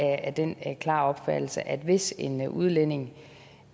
af den klare opfattelse at hvis en udlænding